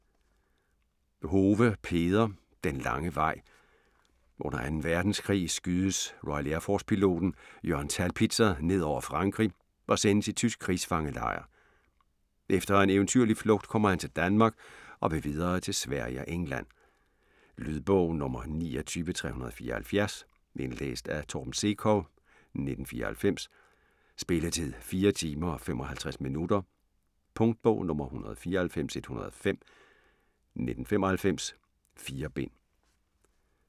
Hove, Peder: Den lange vej Under 2. verdenskrig skydes RAF-piloten Jørgen Thalbitzer ned over Frankrig og sendes i tysk krigsfangelejr. Efter en eventyrlig flugt kommer han til Danmark og vil videre til Sverige og England. Lydbog 29374 Indlæst af Torben Sekov, 1994. Spilletid: 4 timer, 55 minutter. Punktbog 194105 1995. 4 bind.